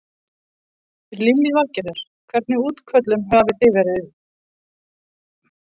Lillý Valgerður: Hvernig útköllum hafi þið verið í morgun?